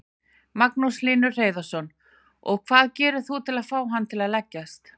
Magnús Hlynur Hreiðarsson: Og hvað gerir þú til að fá hann til að leggjast?